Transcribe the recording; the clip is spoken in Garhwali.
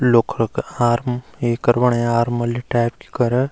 लोगा क आम्र ये करवाणे आर्मी वाली टैप की करा।